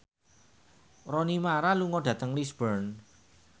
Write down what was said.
Rooney Mara lunga dhateng Lisburn